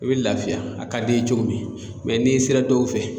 I bɛ lafiya a ka d'i ye cogo min n'i sera dɔw fɛ